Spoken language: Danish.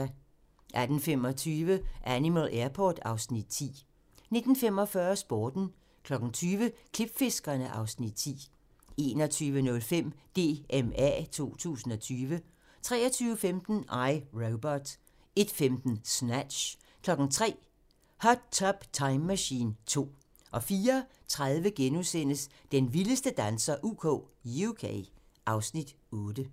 18:25: Animal Airport (Afs. 10) 19:45: Sporten 20:00: Klipfiskerne (Afs. 10) 21:05: DMA 2020 23:15: I, Robot 01:15: Snatch 03:00: Hot Tub Time Machine 2 04:30: Den vildeste danser UK (Afs. 8)*